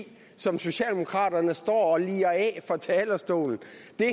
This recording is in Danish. som socialdemokraterne står og lirer af fra talerstolen